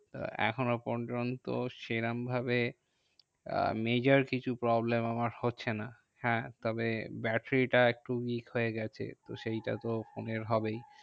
তো এখনো পর্যন্ত সেরম ভাবে আহ major কিছু problem আমার হচ্ছে না। হ্যাঁ তবে ব্যাটারিটা একটু week হয়ে গেছে। তো সেইটা তো ফোনের হবেই।